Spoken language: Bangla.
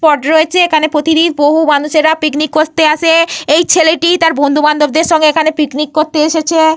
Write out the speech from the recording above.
স্পট রয়েছে। এইখানে প্রতিদিন বহু মানুষেরা পিকনিক করতে আসে। এই ছেলেটি তার বন্ধু বান্ধবদের সঙ্গে এইখানে পিকনিক করতে এসেছে।